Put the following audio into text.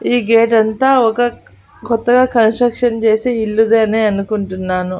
ఈ గేట్ అంతా ఒక కొత్తగా కన్స్ట్రక్షన్ చేసే ఇల్లుదనే అనుకుంటున్నాను.